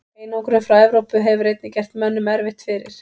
Einangrun frá Evrópu hefur einnig gert mönnum erfitt fyrir.